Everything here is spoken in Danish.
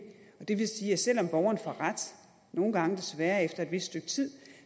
og det vil sige at selv om borgeren får ret nogle gange desværre efter et vist stykke tid